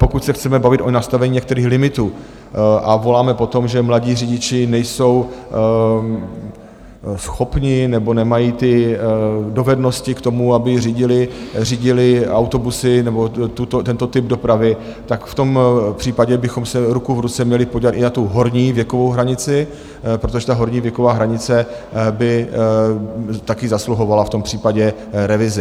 Pokud se chceme bavit o nastavení některých limitů a voláme po tom, že mladí řidiči nejsou schopni nebo nemají ty dovednosti k tomu, aby řídili autobusy nebo tento typ dopravy, tak v tom případě bychom se ruku v ruce měli podívat i na tu horní věkovou hranici, protože ta horní věková hranice by taky zasluhovala v tom případě revizi.